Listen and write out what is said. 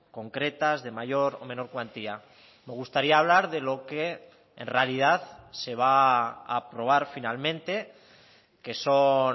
concretas de mayor o menor cuantía me gustaría hablar de lo que en realidad se va a aprobar finalmente que son